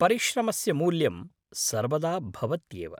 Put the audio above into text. परिश्रमस्य मूल्यं सर्वदा भवत्येव।